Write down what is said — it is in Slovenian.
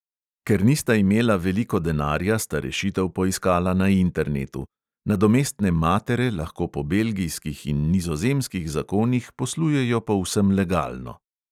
Ker nista imela veliko denarja, sta rešitev poiskala na internetu; nadomestne matere lahko po belgijskih in nizozemskih zakonih poslujejo povsem legalno.